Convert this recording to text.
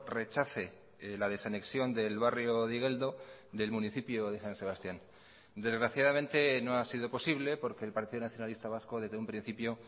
rechace la desanexión del barrio de igeldo del municipio de san sebastián desgraciadamente no ha sido posible porque el partido nacionalista vasco desde un principio